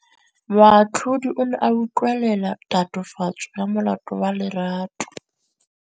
Moatlhodi o ne a utlwelela tatofatsô ya molato wa Lerato.